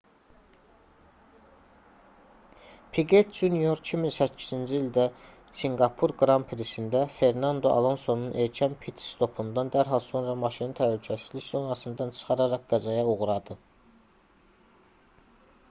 piqet jr 2008-ci ildə sinqapur qran prisində fernando alonsonun erkən pit-stopundan dərhal sonra maşını təhlükəsizlik zonasından çıxararaq qəzaya uğradı